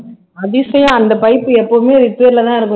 அதிசயம் அந்த pipe எப்பவுமே repair லதான் இருக்கும்